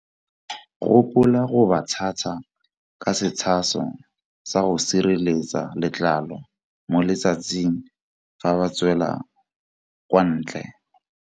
Gopola go ba tshasa ka setshaso sa go sireletsa letlalo mo letsatsing fa ba tswela kwa ntle.